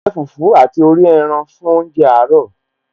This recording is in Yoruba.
A jẹ fùfú àti orí ẹran fún oúnjẹ àárọ̀